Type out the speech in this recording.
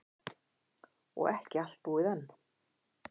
Og ekki allt búið enn.